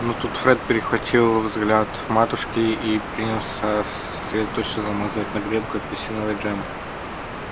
но тут фред перехватил взгляд матушки и принялся сосредоточенно намазывать на гренку апельсиновый джем